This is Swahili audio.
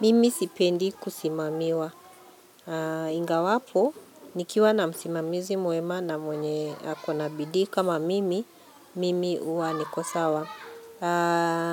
Mimi sipendi kusimamiwa, ingawapo nikiwa na msimamizi mwema na mwenye ako na bidii kama mimi, mimi huwa niko sawa.